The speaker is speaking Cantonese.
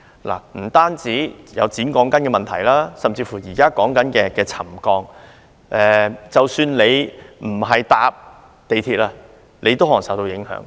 不單有剪短鋼筋的問題，還有現時討論的沉降問題，即使不乘搭港鐵，也可能受到影響。